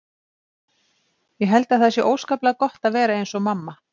Ég held að það sé óskaplega gott að vera eins og mamma.